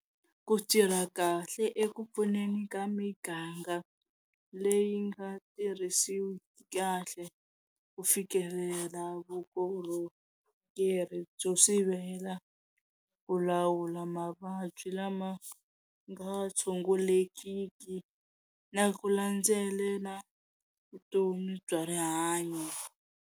Ku tirha kahle eku pfuneni ka miganga leyi nga tirhisiwiki kahle ku fikelela vukorhokeri byo sivela ku lawula mavabyi lama nga tshungulekiki na ku landzela vutomi bya rihanyo.